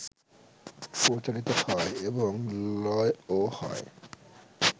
প্রচারিত হয় এবং লয়ও হয়